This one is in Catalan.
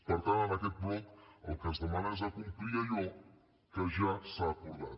per tant en aquest bloc el que es demana és complir allò que ja s’ha acordat